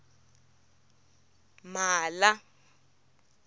mhala